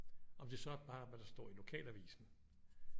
Om det så bare er hvad der står i lokalavisen